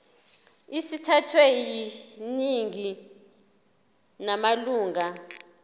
sithathwe yiningi lamalunga